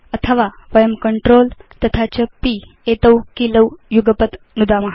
अथवा वयं CTRL तथा च P कीलौ युगपत् नुदाम